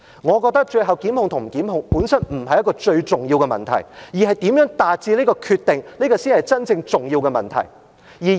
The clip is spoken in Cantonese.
我覺得最後檢控與否，本身不是一個最重要的問題，如何達致這個決定才是真正重要的問題。